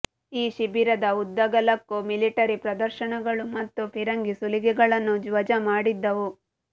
ಈ ಶಿಬಿರದ ಉದ್ದಗಲಕ್ಕೂ ಮಿಲಿಟರಿ ಪ್ರದರ್ಶನಗಳು ಮತ್ತು ಫಿರಂಗಿ ಸುಲಿಗೆಗಳನ್ನು ವಜಾ ಮಾಡಿದ್ದವು